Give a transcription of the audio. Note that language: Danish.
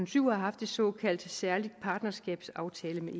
syv har haft en såkaldt særlig partnerskabsaftale med